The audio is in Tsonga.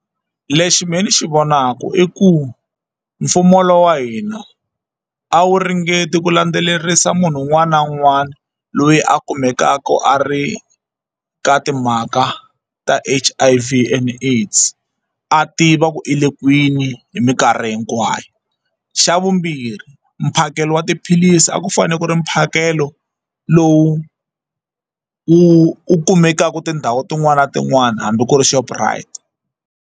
Lexi mehe ni xi vonaka i ku mfumo lowu wa hina a wu ringeti ku landzelerisa munhu un'wana na un'wana loyi a kumekaka a ri ka timhaka ta H_I_V and AIDS a tiva ku i le kwini hi minkarhi hinkwayo xa vumbirhi mphakelo wa tiphilisi a ku fanele ku ri mphakelo lowu wu wu kumekaka tindhawu tin'wani na tin'wani hambi ku ri Shoprite.